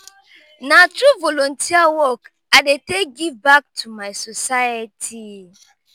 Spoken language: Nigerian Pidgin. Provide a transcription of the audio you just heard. na through volunteer work i dey take give back to my society.